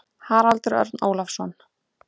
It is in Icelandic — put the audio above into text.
Haraldur Örn Ólafsson.